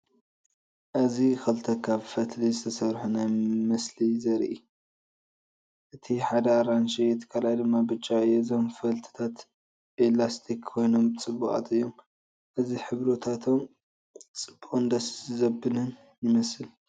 እዚ ክልተ ካብ ፈትሊ ዝተሰርሑ ናይ ምስሊ የርኢ። እቲ ሓደ ኣራንሺ እቲ ካልኣይ ድማ ብጫ እዩ። እዞም ፈትልታት ኤላስቲክ ኮይኖም ፅቡቃት እዮም። እዚ ሕብርታቶም ጽቡቕን ደስ ዘብልን ይመስል።